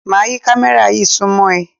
Máa yí kámẹ́rà yí súnmọ́ ẹ.